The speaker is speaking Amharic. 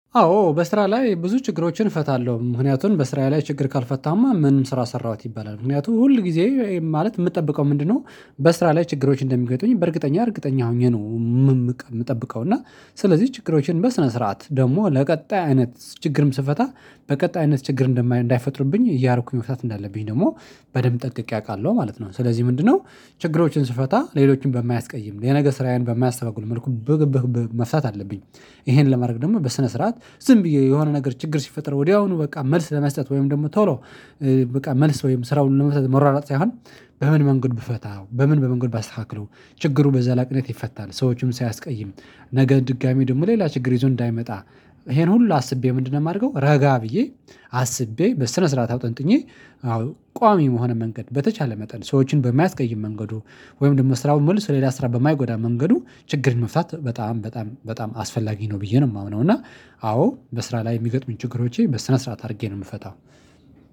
አዎ በስራ ላይ ብዙ ችግሮችን እፈታለሁ ምክንያቱም በስራዬ ላይ ችግር ካልፈታሁማ ምኑን ስራ ሰራሁት ይባላል ምክንያቱም ሁል ጊዜ ማለት የምጠብቀው ምንድነው? በስራ ላይ ችግሮች እንደሚገጥሙኝ በእርግጠኛ እርግጠኛ ሆኜ ነው የምጠብቀው እና ስለዚህ ችግሮችን በስነ ስርዓት ደግሞ ለቀጣይ አይነት ችግርም ስፈታ በቀጣይነት ችግር እንዳይፈጥርብኝ እያረኩኝ መፍታት እንዳለብኝ ደግሞ በደንብ ጠንቅቄ አውቃለሁ ማለት ነው። ስለዚህ ምንድነው? ችግሮችን ስፈታ ሌሎችን በማያስቀይም የነገ ስራዬን በማያስተጓጉል መልኩ መፍታት አለብኝ። ይሄን ለማድረግ ደግሞ በስነ ስርዓት ዝም ብዬ የሆነ ነገር ችግር ሲፈጠር ወዲያውኑ በቃ መልስ ለመስጠት ወይም ደግሞ ቶሎ በቃ መልስ ወይም ስራውን ለመስራት መሯሯጥ ሳይሆን መንገድ ብፈታ በምን መንገድ ባስተካክለው ችግሩ በዘላቂነት ይፈታል። ሰዎችም ሳያስቀይም ነገ ድጋሚ ደግሞ ሌላ ችግር ይዞ እንዳይመጣ። ይሄን ሁሉ አስቤ ምንድነው የማደርገው? ረጋ ብዬ አስቤ በስነ ስርዓት አውጠንጥኜ አዎ ቋሚ በሆነ መንገድ በተቻለ መጠን ሰዎችን በማያስቀይም መንገድ ወይም ደግሞ ስራው መልሶ ሌላ ስራ በማይጎዳ መንገድ ችግርን መፍታት በጣም በጣም በጣም አስፈላጊ ነው ብዬ ነው የማምነው። እና አዎ በስራ ላይ የሚገጥሙኝ ችግሮቼን በስነ ስርዓት አድርጌ ነው የምፈታው።